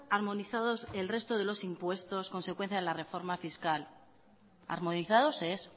armonizados el resto de los impuestos consecuencia de la reforma fiscal armonizados ez